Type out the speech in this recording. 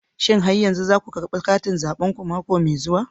Shin har yanzu za ku karbi katin zabenku mako mai zuwa?